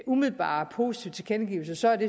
umiddelbart positive tilkendegivelser er det